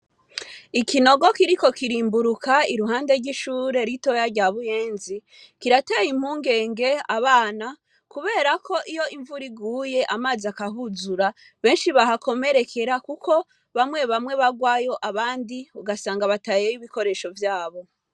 Ikinogo kiriko kirimbuka iruhande ry'ishure ritoya rya Buyenzi, kirateye impungenge abana kuberako iyo imvura iguye amazi akahuzura, benshi bahakomerekera kuko bamwe bamwe barwayo abandi ugasanga batayeyo ibikoresho vyabo.